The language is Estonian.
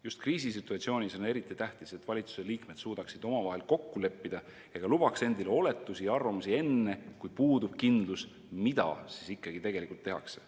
Just kriisisituatsioonis on eriti tähtis, et valitsuse liikmed suudaksid omavahel kokku leppida ega lubaks endile oletusi ja arvamusavaldusi enne, kui puudub kindlus, mida siis ikkagi tegelikult tehakse.